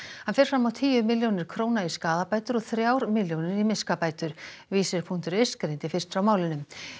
hann fer fram á tíu milljónir króna í skaðabætur og þrjár milljónir í miskabætur vísir punktur is greindi fyrst frá málinu